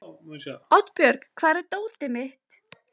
Oddbjörg, hvar er dótið mitt?